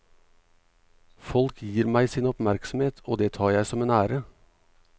Folk gir meg sin oppmerksomhet, og det tar jeg som en ære.